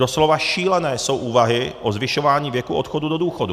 Doslova šílené jsou úvahy o zvyšování věku odchodu do důchodu.